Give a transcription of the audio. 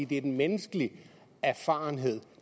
det er den menneskelige erfarenhed